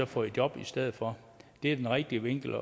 fået i job i stedet for det er den rigtige vinkel